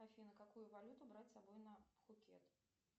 афина какую валюту брать с собой на пхукет